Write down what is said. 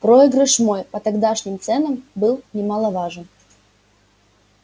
проигрыш мой по тогдашним ценам был немаловажен